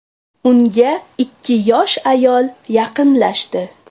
Unga ikki yosh ayol yaqinlashdi.